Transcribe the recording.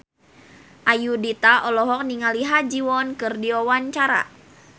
Ayudhita olohok ningali Ha Ji Won keur diwawancara